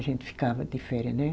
A gente ficava de féria, né